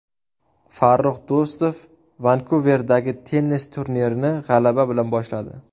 Farrux Do‘stov Vankuverdagi tennis turnirini g‘alaba bilan boshladi.